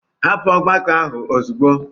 Hapụ ọgbakọ ahụ ozugbo.